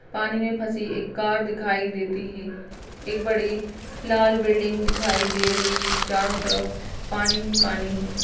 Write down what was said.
पानी में फसी एक कार दिखाई देती है। एक बडी लाल बिल्डिंग दिखाई दे रही है। चारो तरफ पानी हि पानी है।